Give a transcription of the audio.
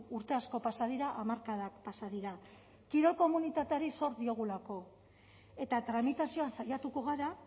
urte asko pasa dira hamarkadak pasa dira kirol komunitateari zor diogulako eta tramitazioan saiatuko gara